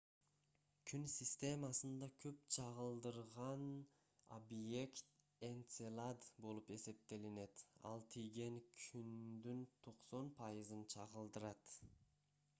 күн системасында көп чагылдырган объект энцелад болуп эсептелинет ал тийген күндүн 90 пайызын чагылдырат